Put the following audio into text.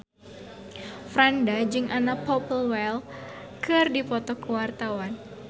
Franda jeung Anna Popplewell keur dipoto ku wartawan